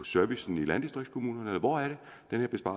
servicen i landdistriktskommunerne eller hvor jeg